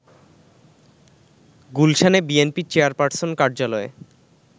গুলশানে BNP chairperson কার্যালয়ে